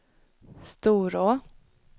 Storå